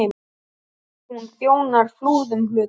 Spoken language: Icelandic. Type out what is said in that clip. Hún þjónar Flúðum, hluta